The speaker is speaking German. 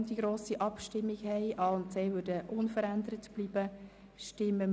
Die grosse Abstimmung würde vor allem den Artikel 31b betreffen.